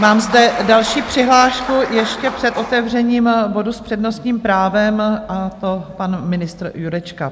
Mám zde další přihlášku ještě před otevřením bodu s přednostním právem, a to pan ministr Jurečka.